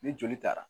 Ni joli taara